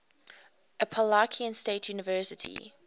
appalachian state university